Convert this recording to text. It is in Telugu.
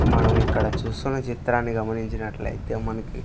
మనము ఇక్కడ చూస్తున్న చిత్రాన్ని గమనించినట్లైతే మనకి--